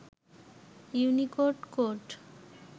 Unicode code